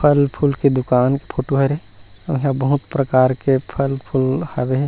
फल-फूल के दुकान फोटो हरे इहाँ बहुत प्रकार के फल-फूल हरे।